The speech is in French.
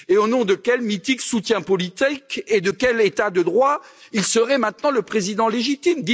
Au nom de quel mythique soutien politique et de quel état de droit serait il maintenant le président légitime?